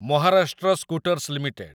Maharashtra scooters limited